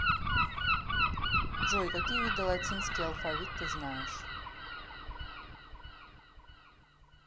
джой какие виды латинский алфавит ты знаешь